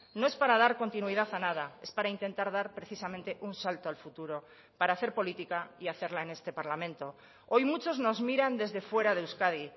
no es para dar continuidad a nada es para intentar dar precisamente un salto al futuro para hacer política y hacerla en este parlamento hoy muchos nos miran desde fuera de euskadi